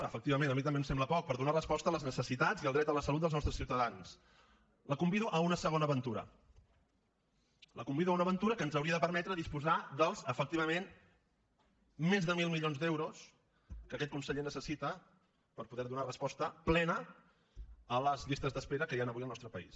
efectivament a mi també em sembla poc per donar resposta a les necessitats i al dret a la salut dels nostres ciutadans la convido a una segona aventura la convido a una aventura que ens hauria de permetre disposar dels efectivament més de mil milions d’euros que aquest conseller necessita per poder donar resposta plena a les llistes d’espera que hi han avui al nostre país